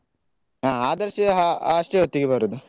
ಹ ಆದರ್ಶ್ ಅಷ್ಟೇ ಹೊತ್ತಿಗೆ ಬರುದು.